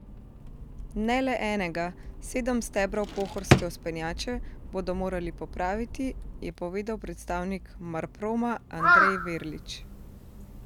Ne le enega, sedem stebrov Pohorske vzpenjače bodo morali popraviti, je povedal predstavnik Marproma Andrej Verlič.